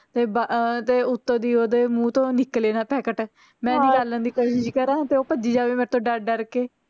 ਤੇ ਬਾ ਅਹ ਤੇ ਉੱਤੋਂ ਦੀ ਓਦੋਂ ਮੂੰਹ ਤੋਂ ਨਿਕਲੇ ਨਾ packet ਮੈਂ ਨਿਕਾਲਣ ਦੀ ਕੋਸ਼ਿਸ਼ ਕਰਾਂ ਤੇ ਓਹ ਭੱਜੀ ਜਾਵੇ ਮੇਰੇ ਤੋਂ ਡਰ ਡਰ ਕੇ